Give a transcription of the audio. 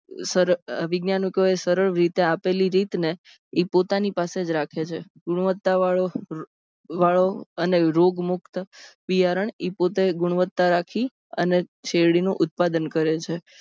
વૈજ્ઞાનિકોની સરળ રીતે આપેલી રીત ને એ પોતાની પાસે જ રાખે છે. ગુણવત્તાવાળો અને રોગમુક્ત બિયારણ પોતેજ ગુણવત્તા રાખી અને શેરડી નું ઉત્પાદન કરે છે.